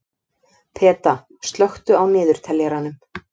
Peta, slökktu á niðurteljaranum.